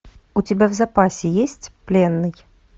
у тебя в запасе есть пленный